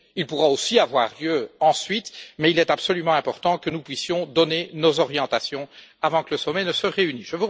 Il pourra aussi avoir lieu ensuite, mais il est absolument important que nous puissions donner nos orientations avant que le sommet ne se réunisse.